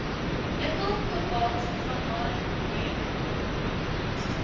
nikkel kobalt vanadium